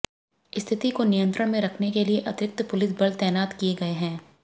स्थिति को नियंत्रण में रखने के लिए अतिरिक्त पुलिस बल तैनात किए गए हैं